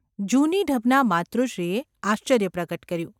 ’ જૂની ઢબનાં માતુશ્રીએ આશ્ચર્ય પ્રગટ કર્યું.